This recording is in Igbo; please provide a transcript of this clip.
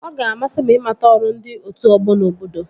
Ọ ga-amasị m ịmata ọrụ ndị otu ọgbọ n'obodo